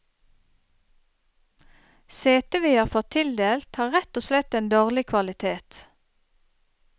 Setet vi har fått tildelt har rett og slett en dårlig kvalitet.